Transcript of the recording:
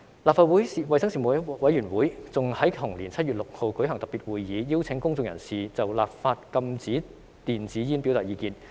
立法會衞生事務委員會更在同年7月6日舉行特別會議，邀請公眾人士就立法禁止電子煙表達意見。